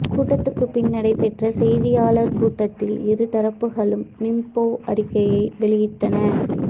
கூட்டத்துக்குப் பின் நடைபெற்ற செய்தியாளர் கூட்டத்தில் இரு தரப்புகளும் நிங்போ அறிக்கையை வெளியிட்டன